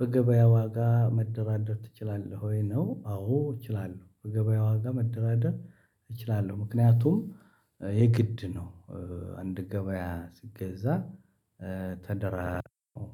በገበያ ዋጋ መደራደር ትችላለህ ወይ ነው አዎ እችላለሁ በገበያ ዋጋ መደራደር እችላለሁ ምክንያቱም የግድ ነው አንድ ገበያ ስትገዛ ተደራድሮ ነው